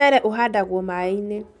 Mũshele ũhandagwo maaĩ-inĩ